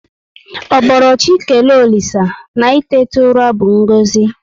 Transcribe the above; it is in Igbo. Ọ boro chị kelee olisa na itetu ụra bu ngozi